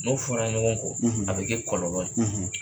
N'o fɔn na ɲɔgɔn kɔ a bɛ kɛ kɔlɔlɔ ye.